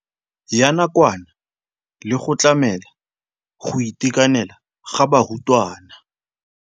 Ya nakwana le go tlamela go itekanela ga barutwana.